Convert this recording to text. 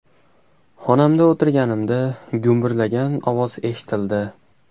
Xonamda o‘tirganimda gumburlagan ovoz eshitildi.